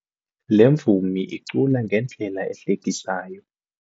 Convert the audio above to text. Le mvumi icula ngendlela ehlekisayo.